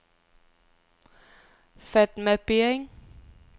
Fatma Bering